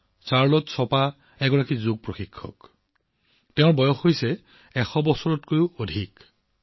Charlotte Chopin চাৰ্লটে Chopin এগৰাকী যোগ অনুশীলনকাৰী যোগ শিক্ষয়িত্ৰী আৰু তেওঁৰ বয়স ১০০ বছৰতকৈও অধিক